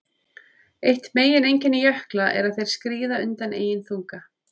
Eitt megineinkenni jökla er að þeir skríða undan eigin þunga.